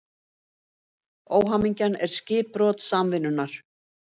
Óhamingjan er skipbrot samvinnunnar.